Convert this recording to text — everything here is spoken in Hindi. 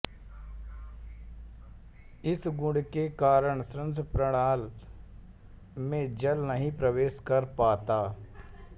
इस गुण के कारण श्वासप्रणाल में जल नहीं प्रवेश कर पाता